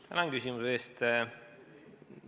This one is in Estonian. Tänan küsimuse eest!